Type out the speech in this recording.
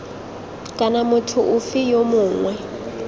kana motho ofe yo mongwe